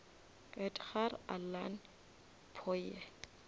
edgar allan poe